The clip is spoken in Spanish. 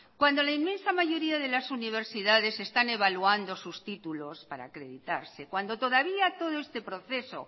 cuando la inmensa mayoría de las universidades están evaluando sus títulos para acreditarse cuando todavía todo este proceso